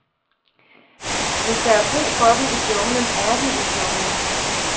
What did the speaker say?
Hvis der er brug for dem i junglen, er de i junglen.